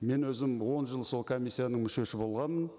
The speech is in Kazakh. мен өзім он жыл сол комиссияның мүшесі болғанмын